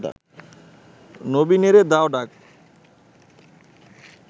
নবীনেরে দাও ডাক